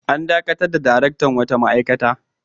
An dakatar da daraktan wata ma'aikata.